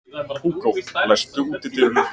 Hugó, læstu útidyrunum.